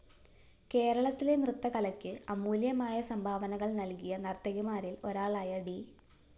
കേരളത്തിലെ നൃത്തകലയ്ക്ക് അമൂല്യമായ സംഭാവനകള്‍ നല്‍കിയ നര്‍ത്തകിമാരില്‍ ഒരാളായ ഡി